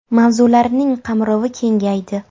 Mavzularining qamrovi kengaydi.